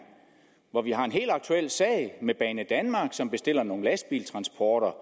hvor vi har en helt aktuel sag med banedanmark som bestiller nogle lastbiltransporter